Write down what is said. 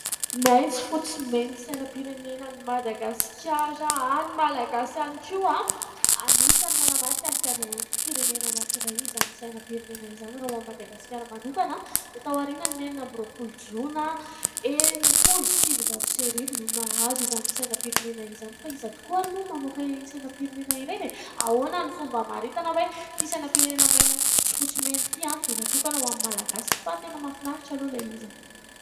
Maitso fotsy mena, sainam-pirenena an'i Madagasikara, an'ny malagasy ihany koa. Anisan'ny manamarika ny fiandrianam-pirenena anankiray izany sainam-pirenena izany. Raha ho an'i Madagasikara manokana dia tao aorianan'ny enina amby roa-polo jona enim-polo sy sivinjato sy arivo no nahazo izany sainam-pirenena izany. Fa iza tokoa ary moa no namoaka ireny sainam-pirenena ireny e ? Ahoana ny fomba hamaritana hoe ity sainam-pirenena maitso fotsy mena ity dia natokana ho an'ny malagasy ? Fa tena mahafinaritra aloha ilay izy.